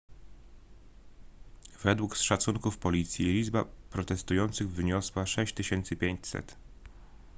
według szacunków policji liczba protestujących wyniosła 6500